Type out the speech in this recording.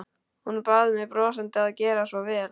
Hún bað mig brosandi að gera svo vel.